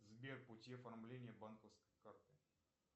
сбер пути оформления банковской карты